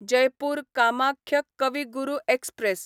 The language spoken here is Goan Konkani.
जयपूर कामाख्य कवी गुरू एक्सप्रॅस